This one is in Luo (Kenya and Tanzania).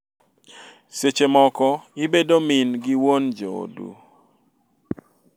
Seche moko ibedo min gi wuon joodu.